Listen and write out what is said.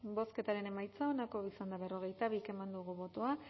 bozketaren emaitza onako izan da berrogeita bi eman dugu bozka